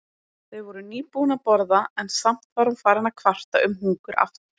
Þau voru nýbúin að borða en samt var hún farin að kvarta um hungur aftur.